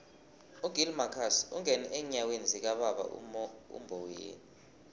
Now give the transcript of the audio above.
ugill marcus ungene eenyathelweni zikababa umboweni